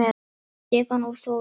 Stefán og Þórunn.